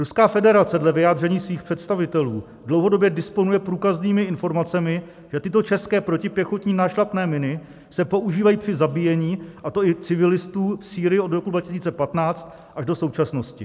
Ruská federace dle vyjádření svých představitelů dlouhodobě disponuje průkaznými informacemi, že tyto české protipěchotní nášlapné miny se používají při zabíjení, a to i civilistů, v Sýrii od roku 2015 až do současnosti.